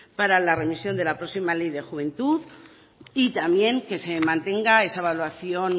para la revisión de la próxima ley de juventud y también que se mantenga esa evaluación